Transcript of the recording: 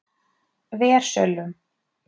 Versölum